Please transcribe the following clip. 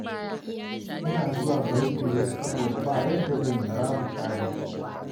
Ina zuwa bankin ne saboda ba yadda zan yi, babu sabis